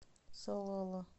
салала